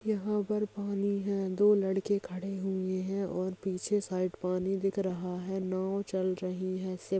यहां पर पानी है दो लड़के खड़े हुए हैं और पीछे साइड पानी दिख रहा है नाव चल रही है।